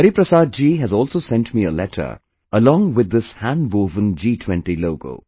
Hariprasad ji has also sent me a letter along with this handwoven G20 logo